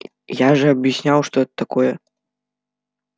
я же объяснял что это такое